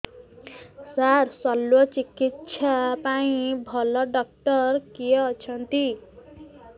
ସାର ଶଲ୍ୟଚିକିତ୍ସା ପାଇଁ ଭଲ ଡକ୍ଟର କିଏ ଅଛନ୍ତି